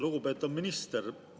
Lugupeetud minister!